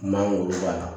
Mangoro b'a la